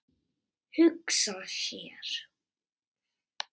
Hugsa sér.